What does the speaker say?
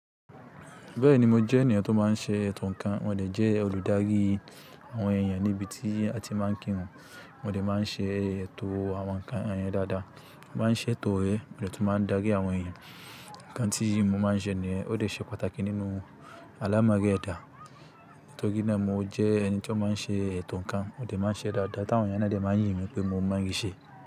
Bẹ́ẹ̀ni, mo jẹ́ ènìyàn tó máa ń ṣe ètò ǹkan, mo dẹ̀ jẹ́ olùdárí àwọn èèyàn níbi tí a ti máa ń kírun. Mo dẹ̀ máa ń ṣe ètò àwọn ǹkan àyàn dáadáa. Mo máa ń ṣe ètò ère, mo dẹ̀ tún máa ń dárí àwọn èèyàn. Ǹkan tí mo máa ń sẹ níyen, ó dẹ̀ ṣe pàtàkì nínú alámọ̀rí ẹ̀dá. Nítorí náà mo jẹ́ ẹni tí ó máa ń ṣe ètò ǹkan, mo dẹ̀ máa ń ṣe é dáadáa, táwọn èèyàn ná dẹ̀ máa ń yìn mí pé mo máa ń ṣe.